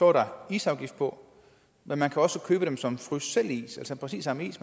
er der isafgift på men man kan også købe dem som frysselvis altså præcis samme is